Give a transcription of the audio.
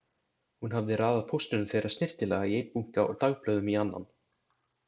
Hún hafði raðað póstinum þeirra snyrtilega í einn bunka og dagblöðum í annan.